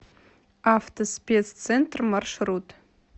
автоспеццентр маршрут